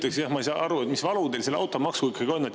Esiteks, ma ei saa aru, mis valu teil selle automaksuga ikkagi on.